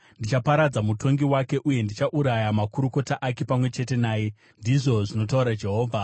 Ndichaparadza mutongi wake uye ndichauraya makurukota ake pamwe chete naye,” ndizvo zvinotaura Jehovha.